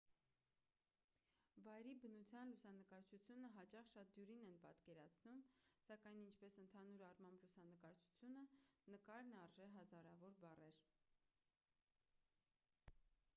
վայրի բնության լուսանկարչությունը հաճախ շատ դյուրին են պատկերացնում սակայն ինչպես ընդհանուր առմամբ լուսանկարչությունը նկարն արժե հազարավոր բառեր